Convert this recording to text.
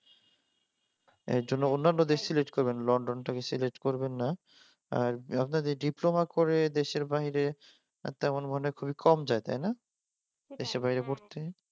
এইজন্য অন্যান্য দেশ সিলেক্ট করবেন লন্ডনটাকে সিলেক্ট করবেন না আর আপনাদের ডিপ্লোমা করে দেশের বাইরে আর তেমন খুবই মানে খুবই কম যায় তাই না দেশের বাইরে পড়তে